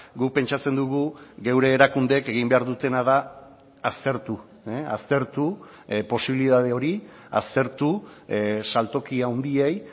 guk pentsatzen dugu geure erakundeek egin behar dutena da aztertu aztertu posibilitate hori aztertu saltoki handiei